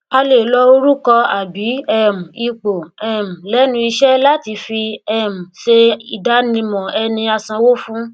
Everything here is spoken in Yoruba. a lè lo orùkọ àbí um ipò um lẹnu iṣẹ láti fi um se ìdánimọ ẹni asanwó fún